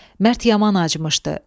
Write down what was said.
Mərd yaman acımışdı.